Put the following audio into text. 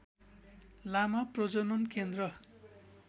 लामा प्रजनन केन्द्र